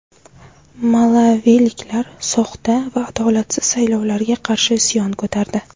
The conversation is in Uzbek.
Malaviliklar soxta va adolatsiz saylovlarga qarshi isyon ko‘tardi.